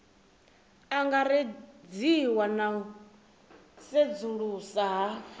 angaredziwa na u sedzulusa ha